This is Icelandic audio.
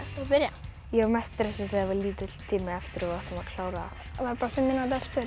byrja ég var mest stressuð þegar var lítill tími eftir og við áttum að klára það var bara fimm mínútur eftir